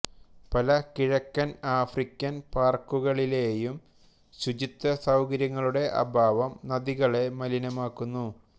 പല കിഴക്കൻ ആഫ്രിക്കൻ പാർക്കുകളിലെയും ശുചിത്വ സൌകര്യങ്ങളുടെ അഭാവം നദികളെ മലിനമാക്കുന്നു